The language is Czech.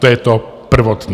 To je to prvotní.